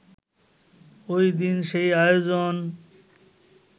ঐদিন সেই আয়োজন